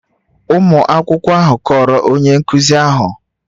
Ụmụ akwụkwọ ahụ kọọrọ onye nkụzi ahụ